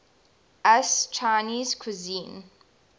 us chinese cuisine